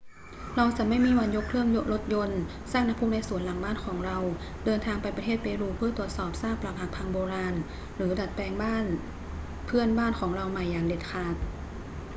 เราจะไม่มีวันยกเครื่องรถยนต์ สร้างน้ำพุในสวนหลังบ้านเรา เดินทางไปประเทศเปรูเพื่อตรวจสอบซากปรักหักพังโบราณ หรือดัดแปลงบ้านเพื่อนบ้านของเราใหม่อย่างเด็ดขาด